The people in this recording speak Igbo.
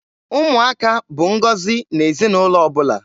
Ụmụaka bụ ngọzi n'ezinaụlọ ọbụla.